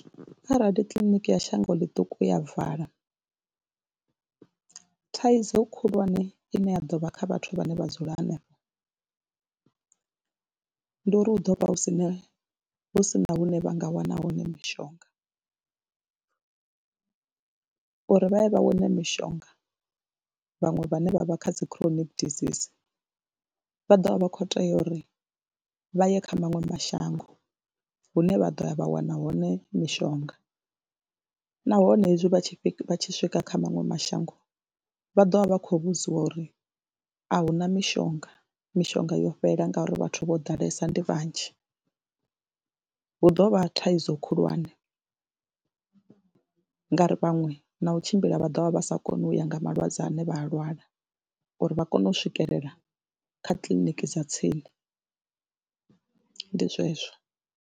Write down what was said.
Kharali kiḽiniki ya shango ḽiṱuku ya vala thaidzo khulwane ine ya ḓo vha kha vhathu vhane vha dzula henefho ndi uri hu ḓo vha hu si na hu si na hune vha nga wana hone mishonga, uri vha ye vha wane mishonga vhaṅwe vhane vha vha kha dzi chronic disease vha ḓo vha vha khou tea uri vha ye kha maṅwe mashango hune vha ḓo ya vha wana hone mishonga nahone hezwi vha tshi tshi swika kha maṅwe mashango vha ḓo vha vha khou vhudziwa uri a hu na mishonga, mishonga yo fhela ngauri vhathu vho ḓalesa ndi vhanzhi, hu ḓo vha thaidzo khulwane ngauri vhaṅwe na u tshimbila vha ḓo vha vha sa koni u ya nga malwadze ane vha a lwala uri vha kone u swikelela kha kiḽiniki dza tsini ndi zwezwo.